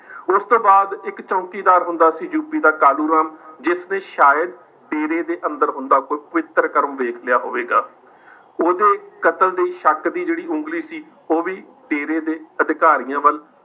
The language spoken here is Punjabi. ਉਸ ਤੋਂ ਬਾਅਦ ਇੱਕ ਚੌਂਕੀਦਾਰ ਹੁੰਦਾ ਸੀ ਯੂਪੀ ਦਾ ਕਾਲੂਰਾਮ, ਜਿਸਨੇ ਸ਼ਾਇਦ ਡੇਰੇ ਦੇ ਅੰਦਰ ਹੁੰਦਾ ਕੋਈ ਪਵਿੱਤਰ ਕਰਮ ਵੇਖ ਲਿਆ ਹੋਵੇਗਾ ਉਹਦੇ ਕਤਲ ਦੇ ਸ਼ੱਕ ਦੀ ਜਿਹੜੀ ਉਂਗਲੀ ਸੀ, ਉਹ ਵੀ ਡੇਰੇ ਦੇ ਅਧਿਕਾਰੀਆਂ ਵੱਲ